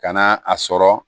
Ka na a sɔrɔ